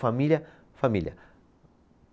Família, família.